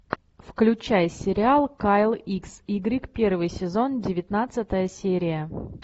включай сериал кайл икс игрек первый сезон девятнадцатая серия